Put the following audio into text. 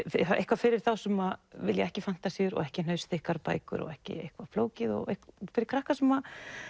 eitthvað fyrir þá sem vilja ekki fantasíur og ekki bækur og ekki eitthvað flókið fyrir krakka sem